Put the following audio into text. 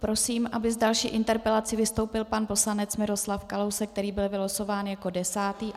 Prosím, aby s další interpelací vystoupil pan poslanec Miroslav Kalousek, který byl vylosován jako desátý.